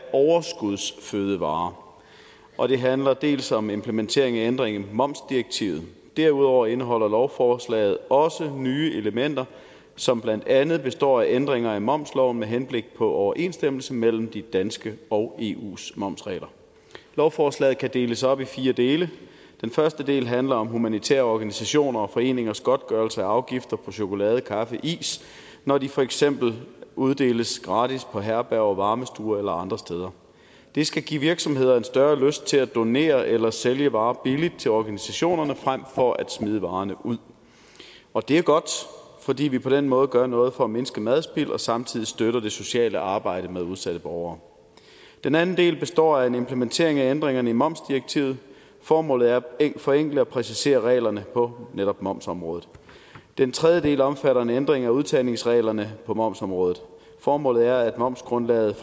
overskudsfødevarer og det handler til dels om implementering af ændringer i momsdirektivet derudover indeholder lovforslaget også nye elementer som blandt andet består af ændringer af momsloven med henblik på overensstemmelse mellem de danske og eus momsregler lovforslaget kan deles op i fire dele den første del handler om humanitære organisationer og foreningers godtgørelse af afgifter på chokolade kaffe og is når det for eksempel uddeles gratis på herberger varmestuer eller andre steder det skal give virksomheder en større lyst til at donere eller sælge varer billigt til organisationerne frem for at smide varerne ud og det er godt fordi vi på den måde gør noget for at mindske madspild og samtidig støtter det sociale arbejde med udsatte borgere den anden del består af en implementering af ændringerne i momsdirektivet formålet er at forenkle og præcisere reglerne på netop momsområdet den tredje del omfatter en ændring af udtagningsreglerne på momsområdet formålet er at momsgrundlaget